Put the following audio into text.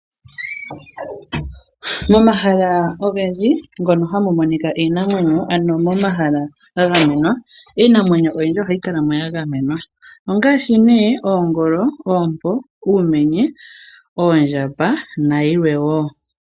Momahala ogendji ngono hamu monika iinamwenyo. Ano momahala ga gamenwa iinamwenyo oyindji ohayi kala ya gamenwa. Ongaashi nee oongolo, uumenye, oompo, oondjamba nayilwe woo.